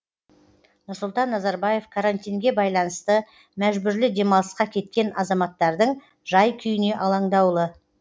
нұрсұлтан назарбаев карантинге байланысты мәжбүрлі демалысқа кеткен азаматтардың жай күйіне алаңдаулы